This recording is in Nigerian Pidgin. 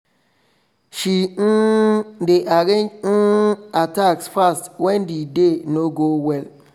she um dey arrange um her task fast when the day no go well